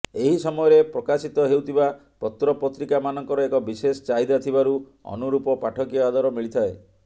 ଏହି ସମୟରେ ପ୍ରକାଶିତ ହେଉଥିବା ପତ୍ରପତ୍ରିକାମାନଙ୍କର ଏକ ବିଶେଷ ଚାହିଦା ଥିବାରୁ ଅନୁରୂପ ପାଠକୀୟ ଆଦର ମିଳିଥାଏ